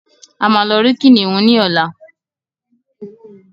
a má ló rí kìnìún ní ọlá